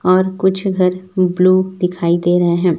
और कुछ घर ब्लू दिखाई दे रहे हैं।